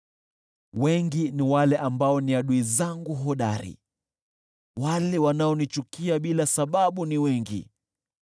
Wengi ni wale ambao ni adui zangu hodari, wale wanaonichukia bila sababu ni wengi.